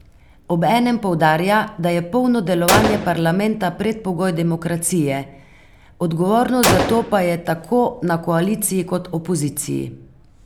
Obenem poudarja, da je polno delovanje parlamenta predpogoj demokracije, odgovornost za to pa je tako na koaliciji kot opoziciji.